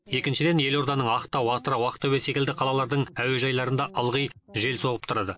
екіншіден елорданың ақтау атырау ақтөбе секілді қалалардың әуежайларында ылғи жел соғып тұрады